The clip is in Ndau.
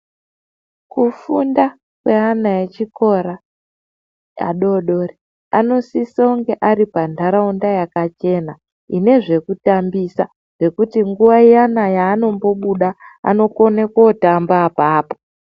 Kufunda kweana echikora adodori, kunosise kunge ari panharaunda yakachena ine zvekutambisa ngekuti nguva iyana yaanombobuda anokona kootamba apapo.